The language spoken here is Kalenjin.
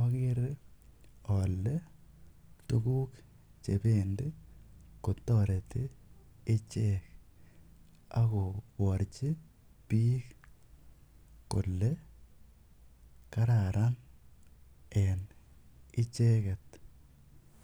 agere ale tuguk che pendi kotareti ichek ak koparchi piik kole kararan en icheget.